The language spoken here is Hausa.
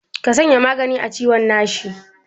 Ka sanya magani a ciwon nashi.